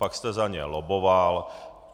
Pak jste za ně lobboval.